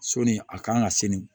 Soni a kan ka sini